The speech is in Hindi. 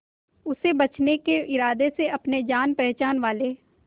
उसे बचने के इरादे से अपने जान पहचान वाले